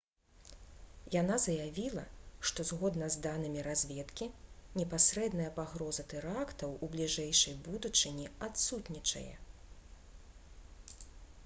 яна заявіла што «згодна з данымі разведкі непасрэдная пагроза тэрактаў у бліжэйшай будучыні адсутнічае»